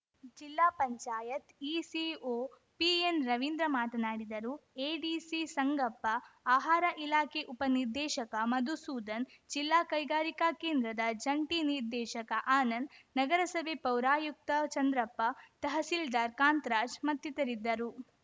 ಜಿಲ್ಲಾ ಪಂಚಾಯತ್ ಇಸಿಒ ಪಿಎನ್‌ರವೀಂದ್ರ ಮಾತನಾಡಿದರು ಎಡಿಸಿ ಸಂಗಪ್ಪ ಆಹಾರ ಇಲಾಖೆ ಉಪನಿರ್ದೇಶಕ ಮಧುಸೂಧನ್‌ ಜಿಲ್ಲಾ ಕೈಗಾರಿಕಾ ಕೇಂದ್ರದ ಜಂಟಿ ನಿರ್ದೇಶಕ ಆನಂದ್‌ ನಗರಸಭೆ ಪೌರಾಯುಕ್ತ ಚಂದ್ರಪ್ಪ ತಹಸೀಲ್ದಾರ್‌ ಕಾಂತ್ ರಾಜ್‌ ಮತ್ತಿತರರಿದ್ದರು